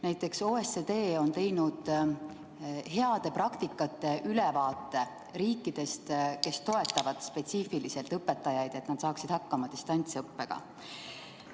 Näiteks OECD on teinud heade praktikate ülevaate riikidest, kes toetavad spetsiifiliselt õpetajaid, et nad saaksid hakkama distantsõppega.